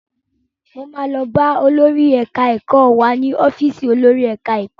Mo máa lọ bá olórí ẹ̀ka ẹ̀kọ́ wá ní ọ́fìsì olórí ẹ̀ka ẹ̀kọ́.